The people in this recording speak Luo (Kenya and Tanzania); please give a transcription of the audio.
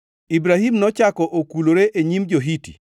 Ibrahim nochako okulore e nyim jo-Hiti,